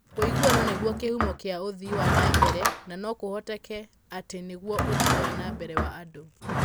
'Ũiguano nĩguo kĩhumo kĩa ũthii wa na mbere, na no kũhoteke atĩ nĩguo ũthii wa na mbere wa andũ.